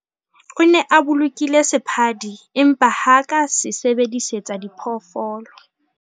O ne a bolokile sephadi empa ha a ka a se sebedisetsa diphoofolo.